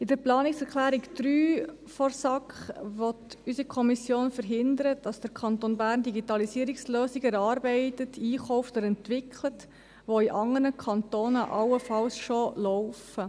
Mit der Planungserklärung 3 der SAK will unsere Kommission verhindern, dass der Kanton Bern Digitalisierungslösungen erarbeitet, einkauft oder entwickelt, die in anderen Kantonen allenfalls bereits laufen.